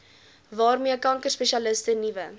waarmee kankerspesialiste nuwe